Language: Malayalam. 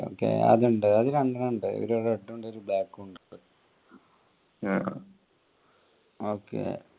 അറിയാം okay ആ അത് ഉണ്ട് രണ്ടെണ്ണം ഉണ്ട് ഒരു red ഉണ്ട് ഒരു black ഉണ്ട്.